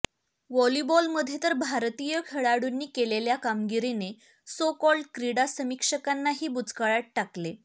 व्हॉलिबॉलमध्ये तर भारतीय खेळाडूंनी केलेली कामगिरी सो कॉल्ड क्रीडा समिक्षकांनाही बुचकळ्यात टाकले